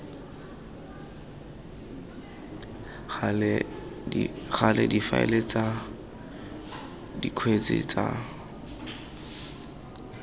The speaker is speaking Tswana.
gale difaele tsa dikgetse tsa